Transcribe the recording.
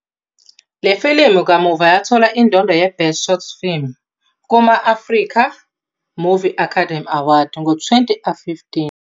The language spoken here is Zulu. Le filimu kamuva yathola indondo yeBest Short Film kuma- Africa Movie Academy Awards ngo-2015.